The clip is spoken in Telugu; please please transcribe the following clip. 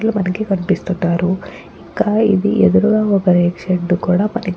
ఇక్కడ మనకి కనిపిస్తున్నారు. ఇంకా ఇది ఎదురుగా ఒక రేకు షెడ్డు కూడా మనకి --